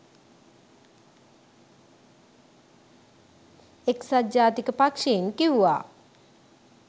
එක්සත් ජාතික පක්ෂයෙන් කිව්වා